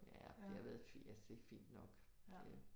Ja det har været fint altså det er fint nok det